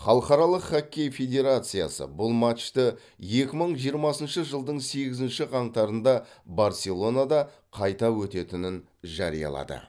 халықаралық хоккей федерациясы бұл матчты екі мың жиырмасыншы жылдың сегізінші қаңтарында барселонада қайта өтетінін жариялады